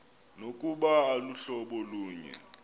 nokuba aluhlobo lunye